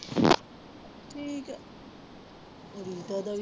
ਠੀਕ ਹੈ ਰੀਟਾ ਦਾ ਵੀ